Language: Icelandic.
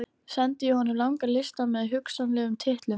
Sendi ég honum langan lista með hugsanlegum titlum.